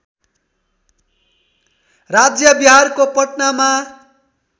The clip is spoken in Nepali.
राज्य बिहारको पटनामा